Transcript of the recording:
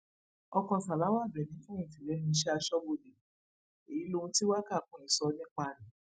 ọkọ salawa àbẹni fẹyìntì lẹnu iṣẹ aṣọbodè èyí lòun tí waka queen sọ nípa rẹ